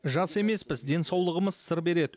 жас емеспіз денсаулығымыз сыр береді